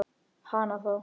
Hana þá.